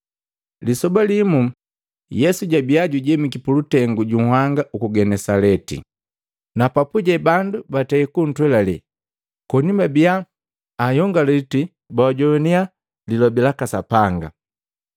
Lisoba limu, Yesu jabiya jujemiki pulutengu juhanga uku Genesaleti na papuje bandu batei kuntwelale koni babiya anyongaliti, bajoannya Lilobi laka Sapanga.